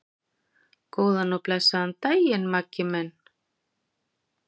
Góðan og blessaðan daginn, Maggi minn.